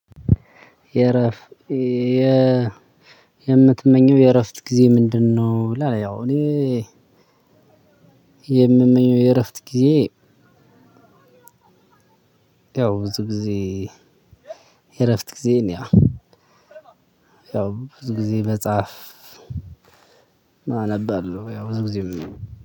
የምትመኘው የእረፍት ጊዜ ምንድ ነው? ይላል ያው እኔ የምመኘው የእረፍት ጊዜ። ያው ብዙ ጊዜ እረፍት ጊዜ ነው። ያው ብዙ ጊዜ መጽሐፍ መጻፍ ነበር። ያው ብዙ ጊዜም